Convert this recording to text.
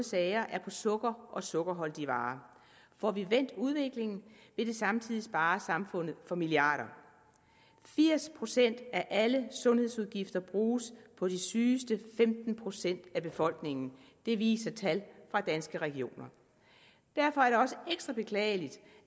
sager er på sukker og sukkerholdige varer får vi vendt udviklingen vil det samtidig spare samfundet for milliarder firs procent af alle sundhedsudgifter bruges på de sygeste femten procent af befolkningen det viser tal fra danske regioner derfor er det også ekstra beklageligt